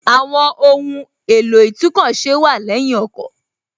Àwọn ohùn èlò itúnkọ̀ ṣe wà lẹ́yìn ọkọ̀